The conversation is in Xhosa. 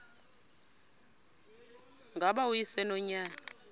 ngaba uyise nonyana